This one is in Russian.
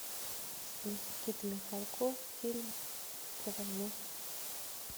никита михалков фильм про войну